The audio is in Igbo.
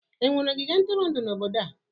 Enwere ogige ntụrụndụ n'obodo a?